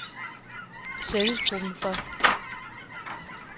Servicegruppen For